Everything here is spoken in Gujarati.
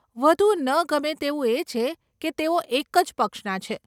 વધુ ન ગમે તેવું એ છે કે તેઓ એક જ પક્ષના છે.